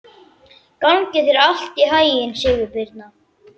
Gangi þér allt í haginn, Sigurbirna.